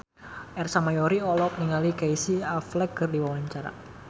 Ersa Mayori olohok ningali Casey Affleck keur diwawancara